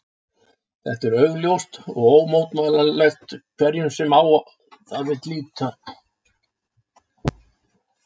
Þetta er augljóst og ómótmælanlegt hverjum sem á það vill líta.